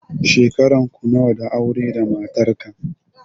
Shekaran ku nawa da aure da matarka?